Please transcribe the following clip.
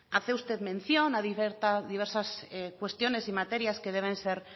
hace usted mención a diversas cuestiones y materias que deben ser